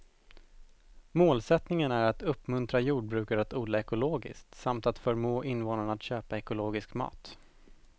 Målsättningen är att uppmuntra jordbrukare att odla ekologiskt samt att förmå invånarna att köpa ekologisk mat.